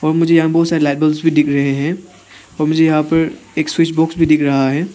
और मुझे यहां बहोत सारे भी दिख रहे हैं और मुझे यहां पर एक स्विच बॉक्स भी दिख रहा है।